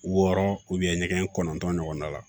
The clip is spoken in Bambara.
Wɔɔrɔ ɲɛgɛn kɔnɔntɔn ɲɔgɔnna la